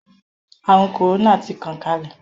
Àrùn kòrónà ti tàn kálẹ̀.